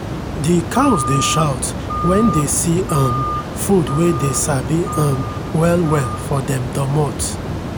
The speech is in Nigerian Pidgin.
the cows dey shout when dey see um food wey dey sabi um well well for dem domot.